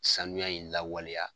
Sanuya in lawaleya